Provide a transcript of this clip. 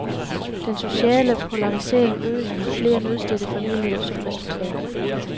Den sociale polarisering øges med flere nødstedte familier som resultat.